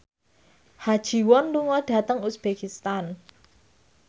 Ha Ji Won lunga dhateng uzbekistan